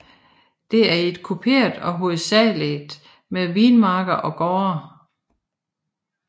Det er et kuperet og hovedsageligt med vinmarker og gårde